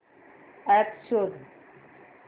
app शोध